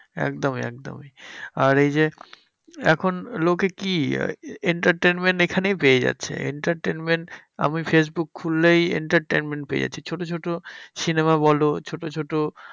একদমই একদমই। আর এই যে এখন লোকে কি entertainment এখানেই পেয়ে যাচ্ছে। entertainment আমি ফেসবুক খুললেই entertainment পেয়ে যাচ্ছি। ছোট ছোট cinema বলো ছোট ছোট